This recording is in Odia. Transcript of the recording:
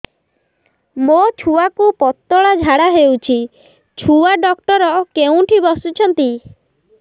ମୋ ଛୁଆକୁ ପତଳା ଝାଡ଼ା ହେଉଛି ଛୁଆ ଡକ୍ଟର କେଉଁଠି ବସୁଛନ୍ତି